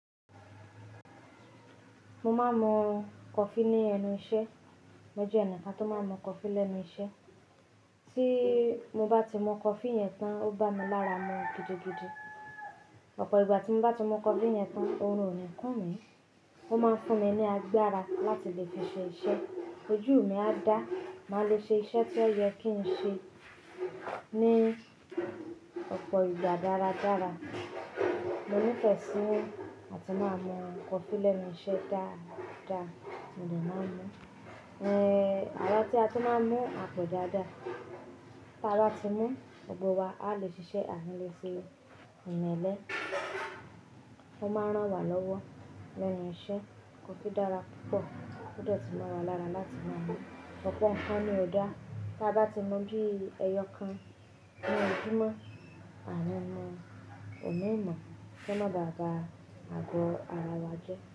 Mo máa ń mu coffee ní ẹnu iṣẹ́. Mo jẹ́ ẹnìkan tó máa ń mu coffee lẹ́nu iṣẹ́. Tí mo bá ti mu coffee yẹn tán, ó bá mi lára mu gidigidi. Ọ̀pọ̀ ìgbà tí mo bá ti mu coffee yẹn tán, orun ò ní kún mi. Ó máa ń fún mi ní agbára láti lè fi ṣe iṣẹ́. Ojú mi á dá, màá le ṣe iṣẹ́ tí ó yẹ kí n ṣe ní ọ̀pọ̀ ìgbà dáradára. Mo nífẹ̀ẹ́ sí àti máa mu coffee lẹ́nu iṣẹ́ dáa dáa. Mi ò dẹ̀ má mú. Ẹ̀hẹ̀, àwa tí a tún máa ń mú a pọ̀ dáadáa. Tí a bá ti mú, gbogbo wa a lè ṣiṣẹ́ ànílé sinmi Ìyẹn ó máa rán wa lọ́wọ́ lẹ́nu iṣẹ́. Coffee dára púpọ̀, ó jẹ́ tó máa wà lára láti máa mú. Ọ̀pọ̀ ǹkan ni ò dá tí a bá ti mu bíi ẹyọ kan. Ni òjúmọ́, à o níwọn ò ní mọ̀ kí wọn dà bá àgọ́ ara wa jẹ́